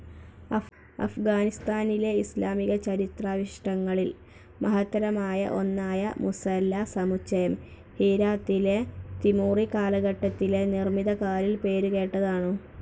അഫ്‌ഗാനിസ്ഥാനിലെ ഇസ്‌ലാമികചരിത്രാവിശിഷ്ടങ്ങളിൽ മഹത്തരമായ ഒന്നായ മുസല്ല സമുച്ചയം ഹീരാത്തിലെ തിമൂറി കാലഘട്ടത്തിലെ നിർമിതികാലിൽ പേരുകേട്ടതാണു.